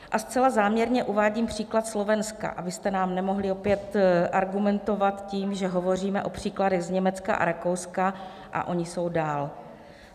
A zcela záměrně uvádím příklad Slovenska, abyste nám nemohli opět argumentovat tím, že hovoříme o příkladech z Německa a Rakouska a oni jsou dál.